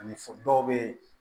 Ani dɔw bɛ